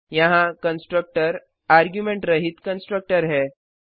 यहाँ constructor argument रहित constructor है